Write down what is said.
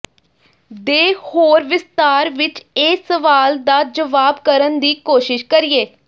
ਦੇ ਹੋਰ ਵਿਸਥਾਰ ਵਿੱਚ ਇਹ ਸਵਾਲ ਦਾ ਜਵਾਬ ਕਰਨ ਦੀ ਕੋਸ਼ਿਸ਼ ਕਰੀਏ